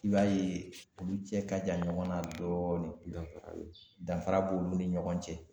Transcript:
I b'a ye olu cɛ ka jan ɲɔgɔn na dɔɔnin dɔɔnin , danfara b'olu ni ɲɔgɔn cɛ.